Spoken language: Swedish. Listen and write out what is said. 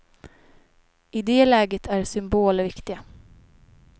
I det läget är symboler viktiga.